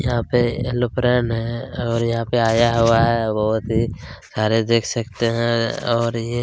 यहाँ पे एयरोप्लेन है और यहाँ पर आया हुआ है बहोत ही सारे देख सकते हैं और ये--